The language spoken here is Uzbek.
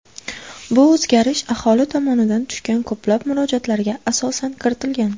Bu o‘zgarish aholi tomonidan tushgan ko‘plab murojaatlarga asosan kiritilgan.